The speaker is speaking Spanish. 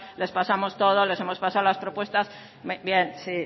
les pasamos todo les hemos pasado las propuestas bien sí